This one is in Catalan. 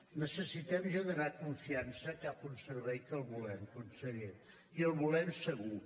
necessitem generar confiança cap a un servei que el volem conseller i el volem segur